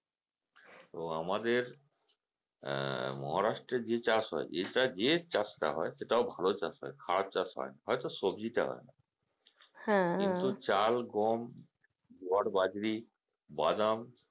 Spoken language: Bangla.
তো আমাদের আহ Maharashtra এ যে চাষ হয় যেটা যে চাষটা হয় সেটাও ভালো চাষ হয় খারাপ চাষ হয় না হয়তো সবজিটা হয় না কিন্তু চাল, গম, জোয়ার, বাদাম,